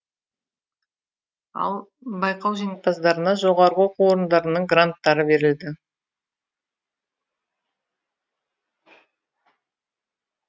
ал байқау жеңімпаздарына жоғарғы оқу орындарының гранттары берілді